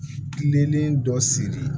Kilennen dɔ sigi